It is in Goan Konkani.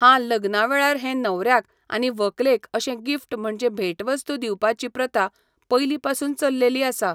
हा लग्ना वेळार हे न्हवऱ्याक आनी व्हंकलेक अशें गिफ्ट म्हणजे भेट वस्तु दिवपाची प्रथा पयली पासुन चल्लेली आसा